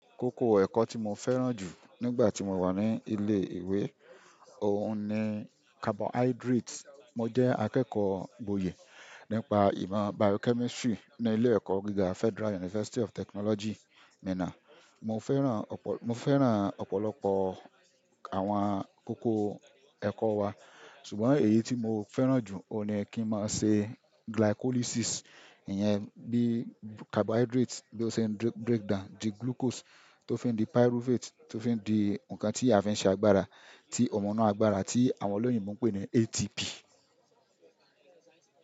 Kókó ẹ̀kọ́ tí mo fẹ́ràn jù nígbà tí mo wà ní ilé ìwé, òun ni carbohydrates. Mo jẹ́ akẹ́kọ̀ọ́ gboyè nípa ìmọ̀ biochemistry ní ilé ẹ̀kọ́ gíga Federal University of Technology, Minna. Mo fẹ́ràn, mo fẹ́ràn ọ̀pọ̀lọpọ̀ àwọn kókó ẹ̀kọ́ wa, ṣùgbọ́n èyí tí mo fẹ́ràn jù, òun ni kí n máa ṣe glycolysis. Ìyẹn bí carbohydrates bí ó ṣe ń breakdown di glucose tó fi ń di pyruvate tó fi ń di nǹkan tí a fi ń ṣe agbára, tí ọmọ muu gbára, tí àwọn olóyìn mú pé ni ATP.